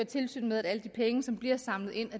tilsyn med at alle de penge som bliver samlet ind